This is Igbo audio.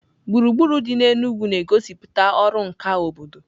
Gburugburu dị n'Enugwu na-egosipụta ọrụ nka obodo.